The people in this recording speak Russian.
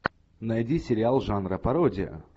найди сериал жанра пародия